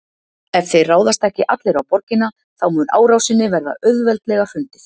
Ef þeir ráðast ekki allir á borgina þá mun árásinni verða auðveldlega hrundið.